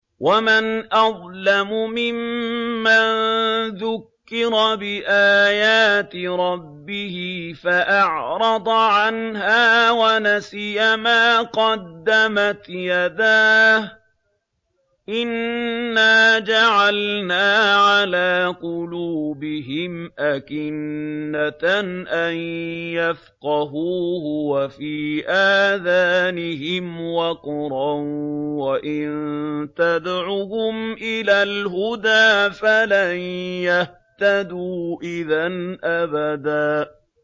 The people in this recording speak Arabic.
وَمَنْ أَظْلَمُ مِمَّن ذُكِّرَ بِآيَاتِ رَبِّهِ فَأَعْرَضَ عَنْهَا وَنَسِيَ مَا قَدَّمَتْ يَدَاهُ ۚ إِنَّا جَعَلْنَا عَلَىٰ قُلُوبِهِمْ أَكِنَّةً أَن يَفْقَهُوهُ وَفِي آذَانِهِمْ وَقْرًا ۖ وَإِن تَدْعُهُمْ إِلَى الْهُدَىٰ فَلَن يَهْتَدُوا إِذًا أَبَدًا